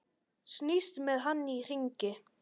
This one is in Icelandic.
Snýst með hann í hringi.